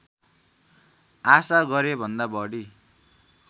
आशा गरेभन्दा बढी